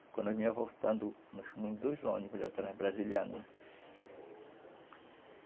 Quando nós voltando, nós fomos em dois ônibus,